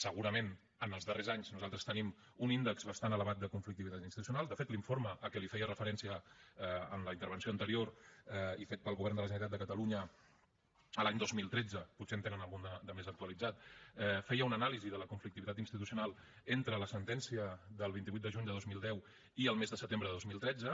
segurament els darrers anys nosaltres tenim un índex bastant elevat de conflictivitat institucional de fet l’informe a què li feia referència en la intervenció anterior i fet pel govern de la generalitat de catalunya l’any dos mil tretze potser en tenen algun de més actualitzat feia una anàlisi de la conflictivitat institucional entre la sentència del vint vuit de juny de dos mil deu i el mes de setembre de dos mil tretze